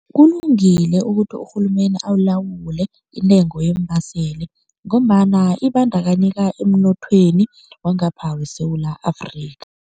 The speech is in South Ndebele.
Kulungile ukuthi urhulumende alawule intengo yeembaseli ngombana ibandakanyeka emnothweni wangapha weSewula Afrika.